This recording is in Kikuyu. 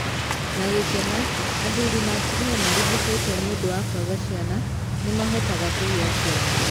Na gĩkeno, athuri na atumia marigitĩtwo nĩ ũndũ wa kwaga kũgĩa ciana nĩ mahotaga kũgĩa ciana.